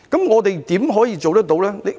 我們如何做得到呢？